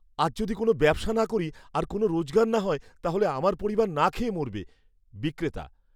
আজ যদি কোনও ব্যবসা না করি আর কোনও রোজগার না হয় তাহলে আমার পরিবার না খেয়ে মরবে। বিক্রেতা